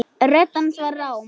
Rödd hans var rám.